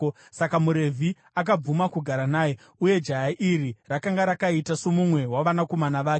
Saka muRevhi akabvuma kugara naye, uye jaya iri rakanga rakaita somumwe wavanakomana vake.